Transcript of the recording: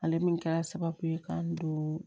Ale min kɛra sababu ye k'an don